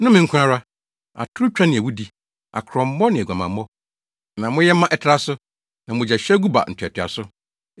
Nnome nko ara, atorotwa ne awudi, akrɔmmɔ, ne aguamammɔ na moyɛ ma ɛtra so, na mogyahwiegu ba ntoatoaso.